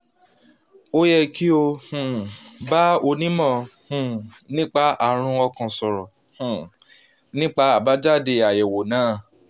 ó yẹ kí o um bá onímọ̀ um nípa àrùn ọkàn sọ̀rọ̀ um nípa àbájáde àyẹ̀wò náà